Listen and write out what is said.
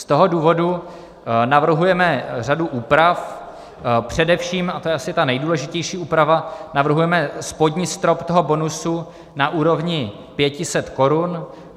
Z toho důvodu navrhujeme řadu úprav, především, a to je asi ta nejdůležitější úprava, navrhujeme spodní strop toho bonusu na úrovni 500 korun.